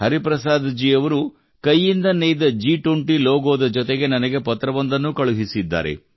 ಹರಿಪ್ರಸಾದ್ ಜಿ ಅವರು ಕೈಯಿಂದ ನೇಯ್ದ ಜಿ20 ಲೋಗೋದ ಜೊತೆಗೆ ನನಗೆ ಪತ್ರವೊಂದನ್ನೂ ಕಳುಹಿಸಿದ್ದಾರೆ